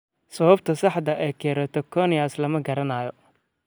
Sababta saxda ah ee keratoconus lama garanayo.